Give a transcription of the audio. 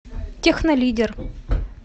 технолидер